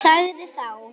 Sagði þá